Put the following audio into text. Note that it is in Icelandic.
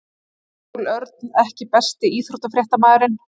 Samúel Örn EKKI besti íþróttafréttamaðurinn?